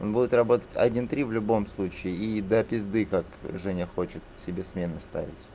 он будет работать один три в любом случае и до пизды как женя хочет себе смены ставить